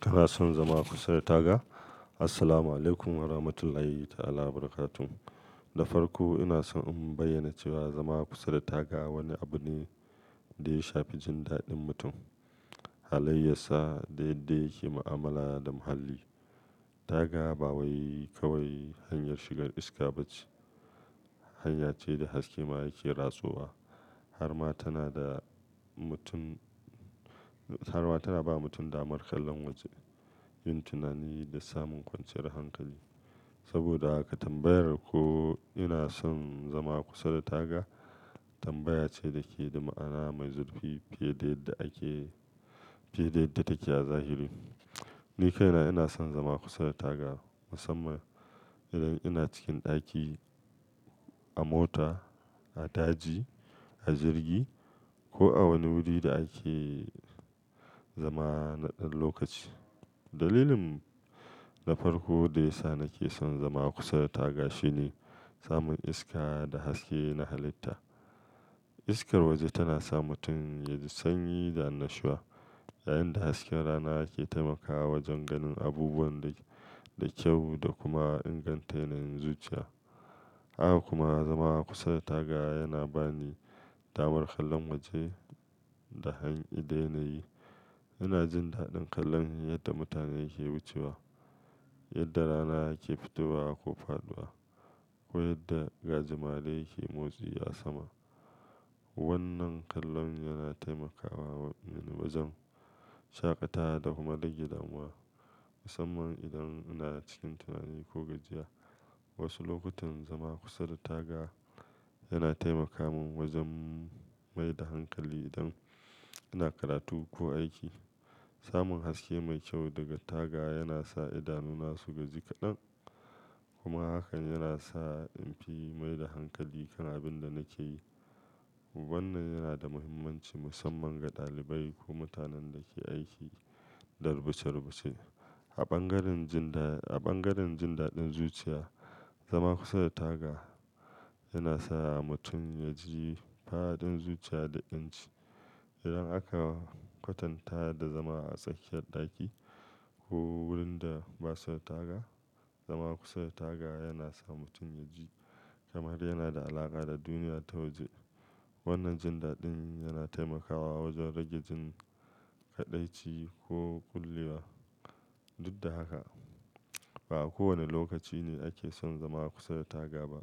Kana son zama kusa da taga? Assalamu alaikum warahmatullahi ta'ala wabarakatu. Da farko ina so in bayyana cewa zama kusa da taga wani abu ne da ya shafi jin daɗin mutum, halayya sa da yadda yake mu'amala da muhalli. Taga ba wai kawai hanyar shigar iska ba ce, hanya ce da haske ma yake rasowa. Har ma tana da mutum, har ma tana ba mutum damar kallon waje, yin tunani da samun kwanciyar hankali. Saboda haka tambayar ko "ina son zama kusa da taga?" tambaya ce da ke da ma'ana mai zurfi fiye da yadda ake, fiye da yadda take a zahiri. Ni kaina ina son zama kusa da taga, musamman idan ina cikin ɗaki, a mota, a daji, a jirgi ko a wani wuri da ake zama na ɗan lokaci. Dalilin na farko da ya sa nake son zama kusa da taga shine samun iska da haske na halitta. Iskar waje tana sa mutum ya ji sanyi da anashiwa, yayin da hasken rana yake taimakawa wajen ganin abubuwa da, da kyau da kuma inganta yanayin zuciya. Haka kuma zama kusa da taga yana bani damar kallon waje da hanyi da yanayi. Ina jin daɗin kallon yadda mutane ke wucewa, yadda rana yake fitowa ko faɗuwa, ko yadda gajimare yake motsi a sama. Wannan kallon yana taimakawa mi wajen shaƙatawa da kuma rage damuwa, musamman idan ina cikin tunani ko gajiya. Wasu lokutan zama kusa da taga yana taimaka min wajen mai da hankali idan ina karatu ko aiki. Samun haske mai kyau daga taga yana sa idanuna su gaji kaɗan, kuma hakan yana sa in fi mai da hankali kan abin da nake yi. Wannan yana da muhimmanci musamman ga ɗalibai ko mutanen da ke aiki da rubuce-rubuce. A bangaren jin da, a bangaren jin daɗin zuciya, zama kusa da taga yana sa mutum ya ji fa'aɗin zuciya da yanci. Idan aka kwatanta da zama a tsakiyar ɗaki ko wurin da ba sa taga, zama kusa da taga yana sa mutum ya ji kamar yana da alaƙa da duniya ta waje. Wannan jin daɗin yana taimakawa wajen rage jin kaɗaici ko kullewa. Duk da haka, ba a kowane lokaci ne ake son zama kusa da taga ba.